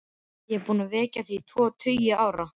Ég er búinn að þekkja þig í tvo tugi ára.